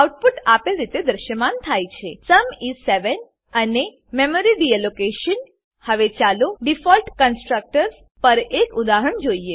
output આપેલ રીતે દ્રશ્યમાન થાય છે સુમ ઇસ 7 અને મેમરી ડીલોકેશન હવે ચાલો ડીફોલ્ટ કન્સ્ટ્રકટર્સ પર એક ઉદાહરણ જોઈએ